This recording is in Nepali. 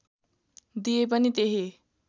दिए पनि त्यही